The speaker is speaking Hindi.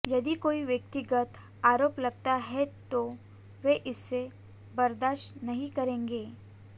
यदि कोई व्यक्तिगत आरोप लगाता है तो वे इसे बर्दाश्त नहीं करेंगे